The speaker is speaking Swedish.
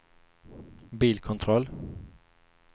bilkontroll